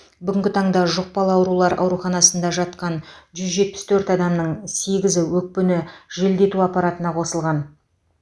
бүгінгі таңда жұқпалы аурулар ауруханасында жатқан жүз жетпіс төрт адамның сегізі өкпені желдету аппаратына қосылған